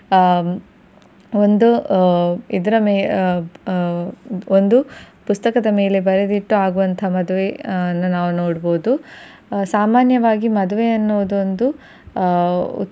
ಆ ಒಂದು ಆ ಇದರ ಮೇ~ ಆ ಒಂದು ಪುಸ್ತಕದ ಮೇಲೆ ಬರೆದಿಟ್ಟು ಆಗುವಂತಹ ಮದುವೆಯನ್ನು ನಾವು ನೋಡಬಹುದು. ಸಾಮಾನ್ಯವಾಗಿ ಮದುವೆಯೆನ್ನುವುದುದೊಂದು ಆ